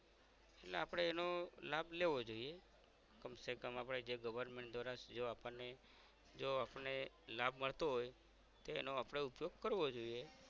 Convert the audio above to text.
આપણે એનો લાભ લેવો જોઇયે કમસે કમ આપણે જે government દ્વારા જો આપણ ને જો આપણે લાભ મળતો હોય તેનો આપણે ઉપયોગ કરવો જોઇયે